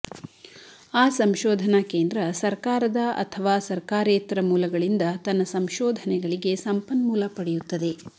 ಆ ಸಂಶೋಧನಾ ಕೇಂದ್ರ ಸರಕಾರದ ಅಥವಾ ಸರಕಾರೇತರ ಮೂಲಗಳಿಂದ ತನ್ನ ಸಂಶೋಧನೆಗಳಿಗೆ ಸಂಪನ್ಮೂಲ ಪಡೆಯುತ್ತದೆ